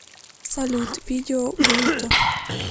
салют видео брутто